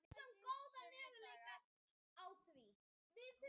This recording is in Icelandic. sunnudagar